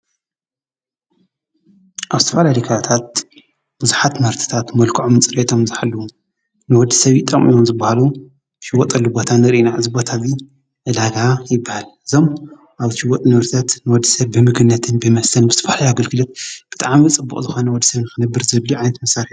ኣብ ዝተፈላልዩ ከባብታት ቡዙሓት ምህርትታት መልከዖምን ጽርየቶም ዝሓለዉ ንወዲሰብ ይጠቅሙ እዮም ዝብሃሉ ዝሽወጠሉ ቦታ ንርኢ ኢና እዚ ቦታ እዚ ዕዳጋ ይብሃል፤ እዞም ኣብዚ ዝሽወጡ ንብረታት ንወዲሰብ ብምግብነትን ብመስተን ብዝተፈላለዩ ኣገልግሎት ብጣዕሚ ጽቡቅ ዝኮነ ወዲሰብ ንክነብር ዘድልዮ ዓይነት መሰርሒ እዩ።